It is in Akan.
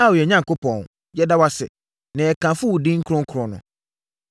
Ao, yɛn Onyankopɔn, yɛda wo ase, na yɛkamfo wo din kronkron no.